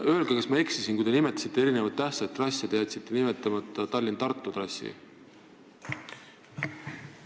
Öelge, kui ma eksin, aga kui te nimetasite erinevaid tähtsaid trasse, kas te jätsite nimetama Tallinna–Tartu trassi?